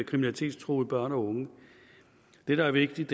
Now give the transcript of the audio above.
kriminalitetstruede børn og unge det der er vigtigt